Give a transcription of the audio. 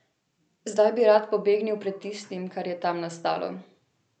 Zdaj bi rad pobegnil pred tistim, kar je tam nastalo.